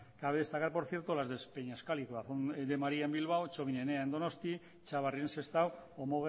cabe destacar por cierto las de peñascal y corazón de maría en bilbao txomin enea en donostia txabarri en sestao o